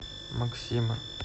максима